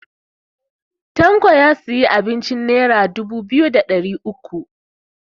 Tanko ya siya abincin nera dubu biyu da ɗari uku